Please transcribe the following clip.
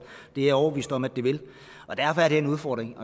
det er jeg overbevist om at det vil og derfor er det en udfordring